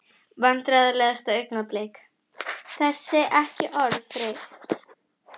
Vandræðalegasta augnablik: Þessi ekki orðin þreytt?